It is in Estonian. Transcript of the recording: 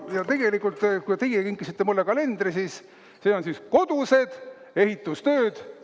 Ja tegelikult, kui teie kinkisite mulle kalendri, siis see on siin "Kodused ehitustööd".